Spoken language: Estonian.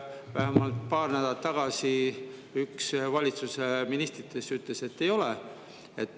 Vähemalt paar nädalat tagasi üks valitsuse ministritest ütles, et ei ole.